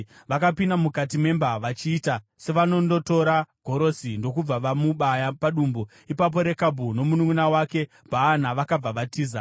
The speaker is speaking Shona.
Vakapinda mukati memba vachiita sevanondotora gorosi, ndokubva vamubaya padumbu. Ipapo Rekabhu nomununʼuna wake Bhaana vakabva vatiza.